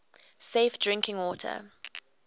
safe drinking water